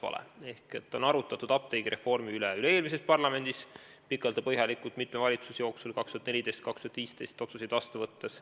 Apteegireformi üle arutleti pikalt ja põhjalikult juba üle-eelmises parlamendis aastatel 2014–2015 ametis olnud valitsuste ajal otsuseid vastu võttes.